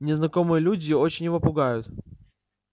незнакомые люди очень его пугают